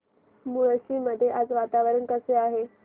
मुळशी मध्ये आज वातावरण कसे आहे